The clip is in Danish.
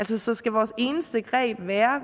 sig så skal vores eneste greb være